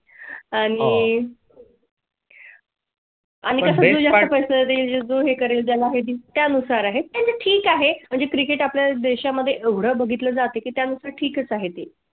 आणि . आम्ही सगळे जो हे करेल आहे त्यानुसार आहे. ठीक आहे म्हणजे Cricket आपल्या देशा मध्ये एवढा बघितला जाते त्यानुसार ठीकच आहे ते.